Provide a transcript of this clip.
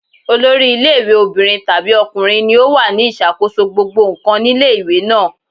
Olori ilé ìwé obìnrin tàbí ọkùnrin ni ó wà ní ìṣàkóso gbogbo ǹkan nílé ìwé náà.